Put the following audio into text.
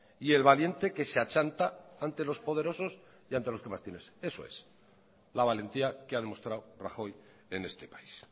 y el valiente que se achanta ante los poderosos y ante los que más tienen eso es la valentía que ha demostrado rajoy en este país